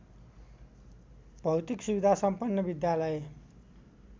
भौतिक सुविधासम्पन्न विद्यालय